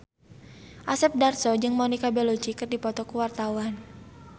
Asep Darso jeung Monica Belluci keur dipoto ku wartawan